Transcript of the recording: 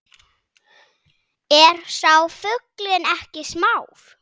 Er sá fuglinn ekki smár